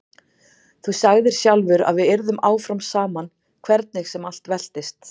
Þú sagðir sjálfur að við yrðum áfram saman hvernig sem allt veltist.